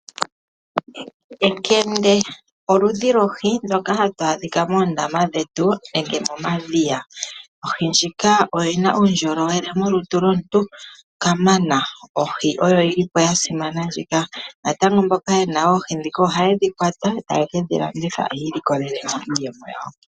Ekende olyo oludhi lohi ndoka hatu adha moondama nenge momadhiya. Ohi ndjika oyi na uundjolowele molutu lwomuntu kamana. Ohi ndjika oyo yi li ya simana. Naamboka ye na oohi dhika ohaye dhi kwata taye kedhi landitha, opo ya vule okwiilikolela iiyemo yawo.